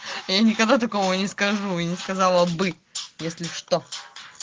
я никогда такого не скажу и не сказала бы если что